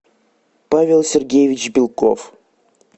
павел сергеевич белков